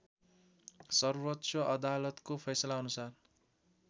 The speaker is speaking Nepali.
सर्वोच्च अदालतको फैसलाअनुसार